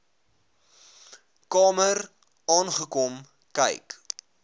kamer aangekom kyk